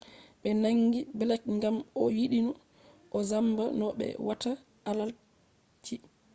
ɓe nangi blek ngam o yiɗino o zamba no ɓe watta adalci